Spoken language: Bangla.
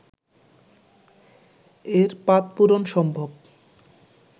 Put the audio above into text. এর পাদপূরণ সম্ভব